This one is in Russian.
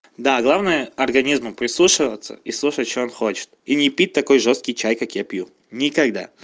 да главное организму прислушиваться и слушать что он хочет и не пить такой жёсткий чай как я пью никогда